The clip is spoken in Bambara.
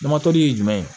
ye jumɛn ye